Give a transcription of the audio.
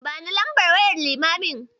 Bani lambar wayar limamin.